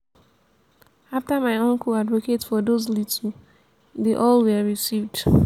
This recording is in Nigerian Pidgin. after my uncle advocate for those little dey all were received